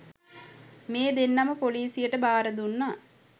මේ දෙන්නම පොලිසියට භාරදුන්නා.